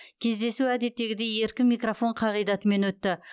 кездесу әдеттегідей еркін микрофон қағидатымен өтті